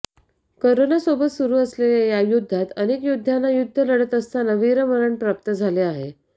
corona सोबत सुरु असलेल्या या युद्धात अनेक योध्यांना युद्ध लढत असताना वीरमरण प्राप्त झाले आहे